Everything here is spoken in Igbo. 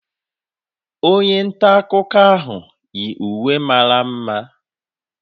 Onye nta akụkọ ahụ yi uwe mara mma